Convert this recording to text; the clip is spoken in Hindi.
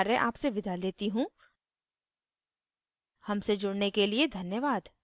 आई आई टी बॉम्बे से मैं श्रुति आर्य अब आपसे विदा लेती हूँ हमसे जुड़ने के लिए धन्यवाद